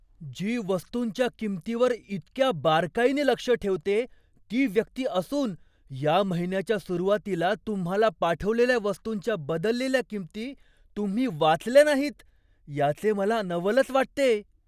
जी वस्तूंच्या किंमतींवर इतक्या बारकाईने लक्ष ठेवते ती व्यक्ती असून, या महिन्याच्या सुरुवातीला तुम्हाला पाठवलेल्या वस्तूंच्या बदललेल्या किंमती तुम्ही वाचल्या नाहीत याचे मला नवलच वाटतेय.